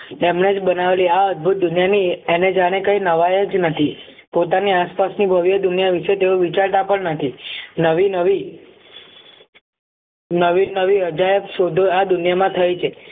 તેમણે જ બનાવેલી આ અદભુત દુનિયાની એને જાણે કંઈ નવાઈ જ નથી પોતાની આસપાસની ભવ્ય દુનિયા વિશે તેઓ વિચારતા પણ નથી નવી નવી નવી નવી અદાયક શોધો આ દુનિયામાં થઈ છે